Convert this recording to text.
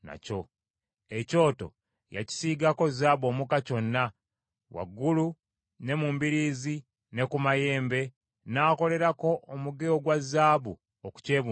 Ekyoto yakisiigako zaabu omuka kyonna, waggulu ne mu mbiriizi ne ku mayembe, n’akolerako omuge ogwa zaabu okukyebungulula.